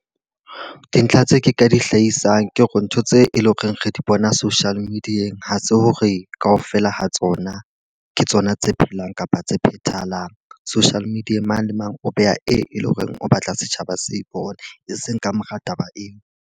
Dintlha tse ke ka di hlahisang ke hore ntho tse e leng hore re di bona social media-eng, ha se hore ka ofela ha tsona ke tsona tse phelang kapa tse phethahaleng. Social media-eng mang le mang o beha e leng hore o batla setjhaba se bona, e seng ka mora taba eo.